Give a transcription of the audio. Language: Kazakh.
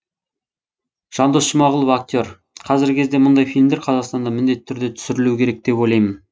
жандос жұмағұлов актер қазіргі кезде мұндай фильмдер қазақстанда міндетті түрде түсірілуі керек деп ойлаймын